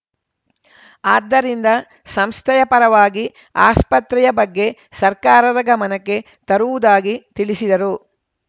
ಆದ್ದರಿಂದ ಸಂಸ್ಥೆಯ ಪರವಾಗಿ ಆಸ್ಪತ್ರೆಯ ಬಗ್ಗೆ ಸರ್ಕಾರದ ಗಮನಕ್ಕೆ ತರುವುದಾಗಿ ತಿಳಿಸಿದರು